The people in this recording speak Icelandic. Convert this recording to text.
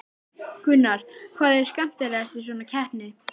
Gunnar: Hvað er skemmtilegast við svona keppni?